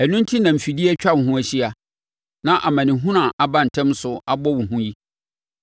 Ɛno enti na mfidie atwa wo ho ahyia, na amanehunu a ɛba ntɛm so abɔ wo hu yi,